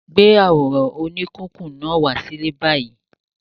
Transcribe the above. Gbé àwòrán oníkíkùn náà wá sílé báyìí!